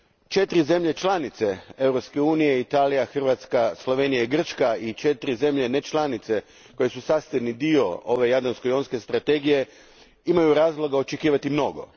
Četiri zemlje članice Europske unije, Italija, Hrvatska, Slovenija i Grčka, i četiri zemlje nečlanice, koje su sastavni dio ove Jadransko jonske strategije, imaju razloga očekivati mnogo.